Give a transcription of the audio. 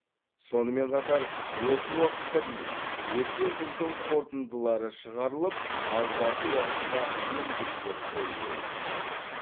сонымен қатар осы уақытқа дейін өткен жылдың қорытындылары шығарылып алдағы уақытқа міндеттер қойылуы тиіс